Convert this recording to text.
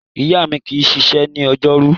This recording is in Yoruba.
Ìyá mi kì í ṣiṣẹ́ ní ọjọ́rú.